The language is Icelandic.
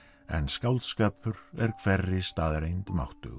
en skáldskapur er hverri staðreynd máttugri